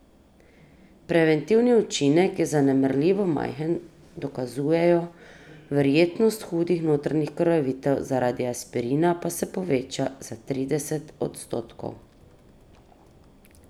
Preventivni učinek je zanemarljivo majhen, dokazujejo, verjetnost hudih notranjih krvavitev zaradi aspirina pa se poveča za trideset odstotkov.